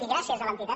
i gràcies a l’entitat